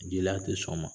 Jeliya tɛ sɔn o ma